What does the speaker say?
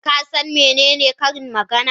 Ka san menene karin magana?